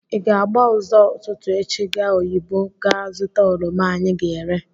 Ịga-agba ụzọ ụtụtụ echi gaa oyigbo gaa zụta oroma anyị ga-ere?